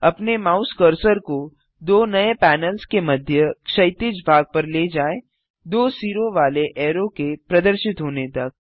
अपने mouse cursor को दो नये पैनल्स के मध्य क्षैतिज भाग पर ले जाएँ दो सिरों वाले ऐरो के प्रदर्शित होने तक